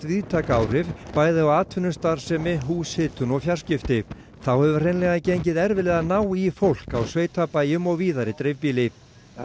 víðtæk áhrif bæði á atvinnustarfsemi húshitun og fjarskipti þá hefur hreinlega gengið erfiðlega að ná í fólk á sveitabæjum og víðar í dreifbýli